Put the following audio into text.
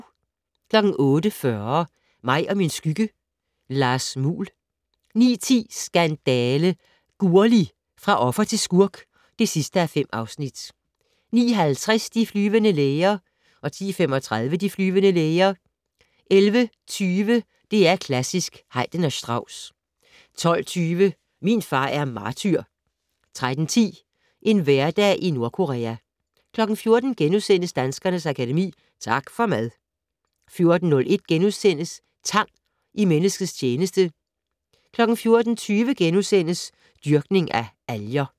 08:40: Mig og min skygge: Lars Muhl 09:10: Skandale! - Gurli, fra offer til skurk (5:5) 09:50: De flyvende læger 10:35: De flyvende læger 11:20: DR Klassisk: Haydn og Strauss 12:20: Min far er martyr 13:10: En hverdag i Nordkorea 14:00: Danskernes Akademi: Tak for mad! * 14:01: Tang i menneskets tjeneste * 14:20: Dyrkning af alger *